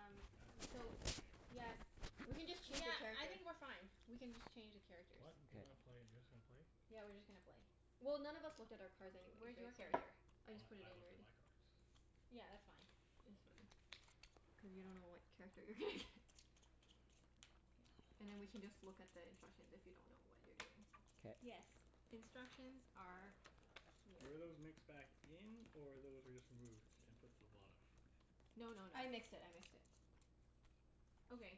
It doesn't matter. We're playing So, open game. yes. Doesn't We can really just matter. change Yeah, the cards I here. think we're fine. We can just change the characters. What? You gonna Okay. play, you're just gonna play? Yeah, we're just gonna play. Well, none of us looked at our cards anyway, Where's your right? So character? I just We- put it I in looked at already. my cards. Yeah, that's fine. Oh, It's fine. okay. Cuz you don't know what character you're gonna get. Yeah. And then we can just look at the instructions if you don't know what you're doing. K. Yes. Instructions are here. Were those mixed back in, or those were just removed? And put to the bottom? No no no. I mixed it. I mixed it. Okay.